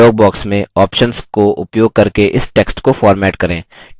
text dialog box में options को उपयोग करके इस text को format करें